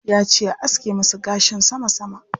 Yace a aske masa gashin sama sama.